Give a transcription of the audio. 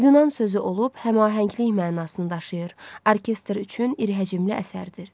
Yunan sözü olub, həmahənglik mənasını daşıyan, orkestr üçün iri həcmli əsərdir.